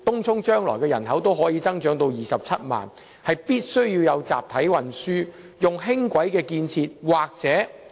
由於東涌人口日後預計會增至27萬人，必須於該區提供集體運輸，例如建設輕軌。